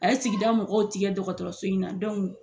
A ye sigida mɔgɔw tigɛ dɔgɔtɔrɔso in na